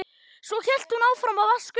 Svo hélt hún áfram að vaska upp.